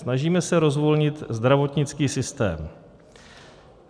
Snažíme se rozvolnit zdravotnický systém.